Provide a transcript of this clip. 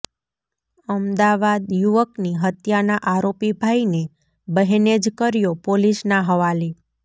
અમદાવાદઃ યુવકની હત્યાના આરોપી ભાઈને બહેને જ કર્યો પોલીસના હવાલે